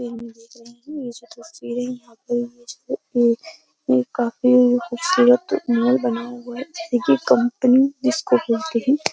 एक काफी खूबसूरत महल बनाया हुआ हई जैसे कंपनी जिसको बोलते हैं।